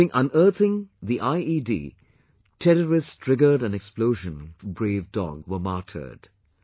During unearthing the IED, terrorists triggered an explosion and brave dog were martyred